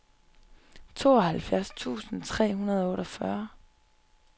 tooghalvfjerds tusind tre hundrede og otteogfyrre